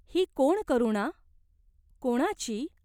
ही कोण करुणा ? कोणाची ?